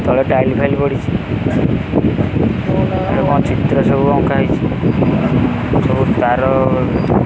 ତଳେ tile file ପଡ଼ିଚି ଏରା କଣ ଚିତ୍ର ସବୁ ଅଙ୍କା ହେଇଚି ସବୁ ତାର --